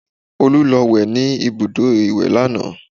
Olú lọ wẹ̀ ní ibùdó ìwẹ̀ lánàá